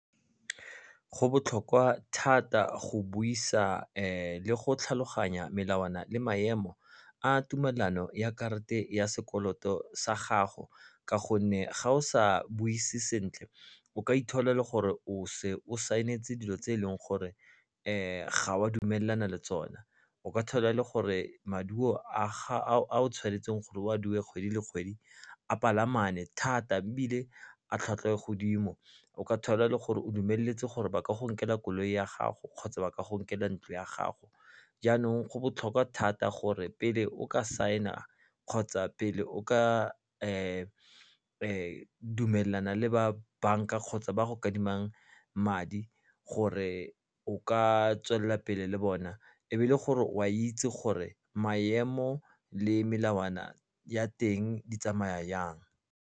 Go botlhokwa thata go buisa le go tlhaloganya melawana le maemo a tumelano ya karata ya sekoloto sa gago ka gonne ga o sa buise sentle o ka ithola e le gore o se o sign-etse dilo tse eleng gore ga wa dumelana le tsona o ka thola e le gore maduo a o tshwanetseng gore o a duele kgwedi le kgwedi a palamane thata ebile a tlhwatlhwa e godimo. O ka thola e le gore o dumeletse gore ba ka go nkela koloi ya gago kgotsa ba ka go nkela ntlo ya gago jaanong go botlhokwa thata gore pele o ka sign-a kgotsa pele o ka dumelana le ba bank-a kgotsa ba go adimang madi gore o ka tswelela pele le bona e be e le gore o a itse gore maemo le melawana ya teng di tsamaya jang.